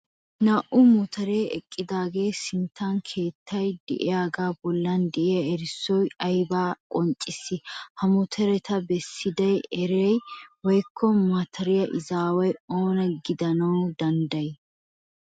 Naa"u motoree eqqidaagaa sinttan keettay diyagaa bollan de'iya erissoy ayibaa qonccissii? Ha motoreta bessida uray woyikko matariya izaaway oona gidana danddayii?